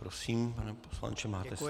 Prosím, pane poslanče, máte slovo.